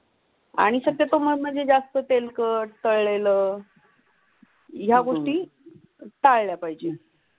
आणि शक्यतो म्हणजे जास्त तेलकट, कळेल या गोष्टी कळल्या पाहिजेत.